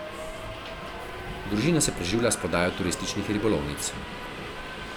Družina se preživlja s prodajo turističnih ribolovnic.